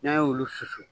N'an y'olu susu